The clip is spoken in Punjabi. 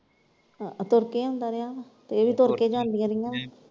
ਆਹ ਤੁਰਕੇ ਆਉਂਦਾ ਰਿਹਾ ਵਾ ਇਹ ਵੀ ਤੁਰਕੇ ਜਾਂਦੀਆਂ ਰਹੀਆਂ ਵਾਂ।